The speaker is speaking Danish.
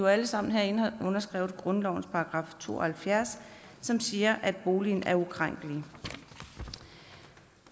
alle sammen herinde har underskrevet grundlovens § to og halvfjerds som siger at boligen er ukrænkelig